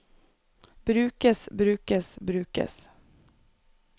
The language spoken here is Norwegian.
brukes brukes brukes